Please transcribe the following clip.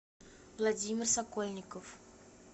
владимир сокольников